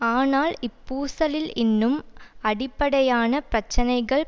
ஆனால் இப்பூசலில் இன்னும் அடிப்படையான பிரச்சினைகள்